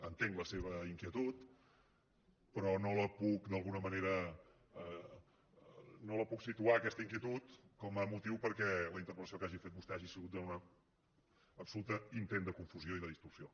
entenc la seva inquietud però no la puc d’alguna manera situar aquesta inquietud com a motiu perquè la interpel·lació que hagi fet vostè hagi sigut un absolut intent de confusió i de distorsió